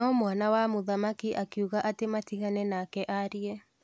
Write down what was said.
No mwana wa mũthamaki akiuga atĩ matigane nake aarie.